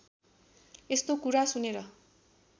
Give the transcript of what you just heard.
यस्तो कुरा सुनेर